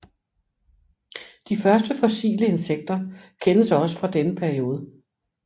De første fossile insekter kendes også fra denne periode